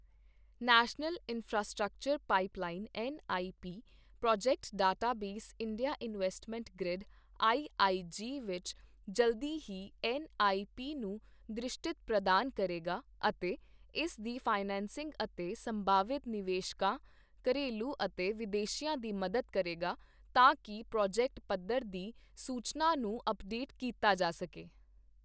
National infrastructure pipeline N I P project database India investment grid I I G ਵਿੱਚ ਜਲਦੀ ਹੀ ਐੱਨ ਆਈ ਪੀ ਨੂੰ ਦ੍ਰਿਸ਼ਟਤ ਪ੍ਰਦਾਨ ਕਰੇਗਾ ਅਤੇ ਇਸ ਦੀ ਫਾਇਨੈਂਸਿੰਗ ਅਤੇ ਸੰਭਾਵਿਤ ਨਿਵੇਸ਼ਕਾਂ, ਘਰੇਲੂ ਅਤੇ ਵਿਦੇਸ਼ੀਆਂ ਦੀ ਮਦਦ ਕਰੇਗਾ ਤਾਂ ਕਿ ਪ੍ਰੋਜੈਕਟ ਪੱਧਰ ਦੀ ਸੂਚਨਾ ਨੂੰ ਅੱਪਡੇਟ ਕੀਤਾ ਜਾ ਸਕੇ।